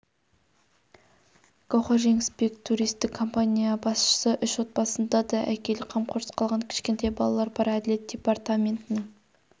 гауһар жеңісбек туристік компания басшысы үш отбасында да әкелік қамқорсыз қалған кішкентай балалар бар әділет департаментінің